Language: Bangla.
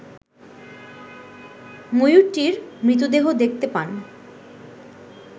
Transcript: ময়ূরটির মৃতদেহ দেখতে পান